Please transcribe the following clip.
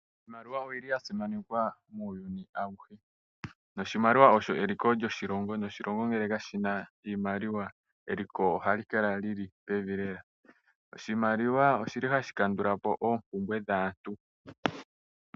Iimaliwa oyili ya simanekwa muuyuni awuhe noshimaliwa osho eliko lyoshilongo . Oshilongo ngele kashina iimaliwa eliko ohali kala lili pevi lela. Oshimaliwa oshili hashi kandulapo oompumbwe dhaantu.